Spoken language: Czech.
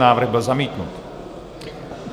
Návrh byl zamítnut.